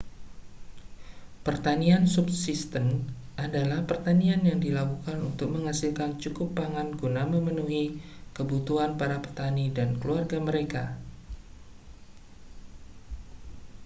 pertanian subsisten adalah pertanian yang dilakukan untuk menghasilkan cukup pangan guna memenuhi kebutuhan para petani dan keluarga mereka